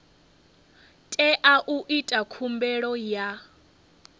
tea u ita khumbelo ya